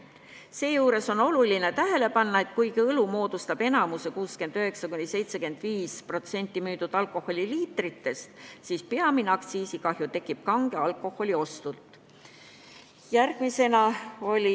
Seejuures on oluline tähele panna, et kuigi õlu moodustab 69–75% müüdud alkoholi liitritest, moodustub peamine aktsiisikahju kange alkoholi ostudelt.